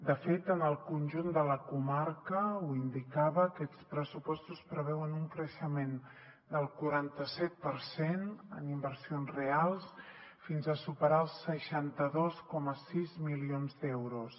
de fet en el conjunt de la comarca ho indicava aquests pressupostos preveuen un creixement del quaranta set per cent en inversions reals fins a superar els seixanta dos coma sis milions d’euros